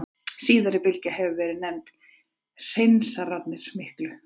Síðari bylgjan hefur verið nefnd Hreinsanirnar miklu.